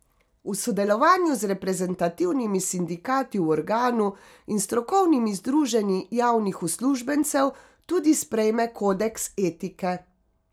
V sodelovanju z reprezentativnimi sindikati v organu in strokovnimi združenji javnih uslužbencev tudi sprejme kodeks etike.